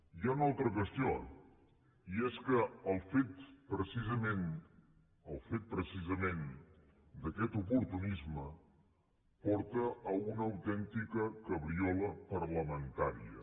hi ha una altra qüestió i és que el fet precisament d’aquest oportunisme porta a una autèntica cabriola parlamentària